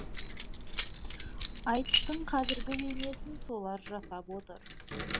айтыстың қазіргі бейнесін солар жасап отыр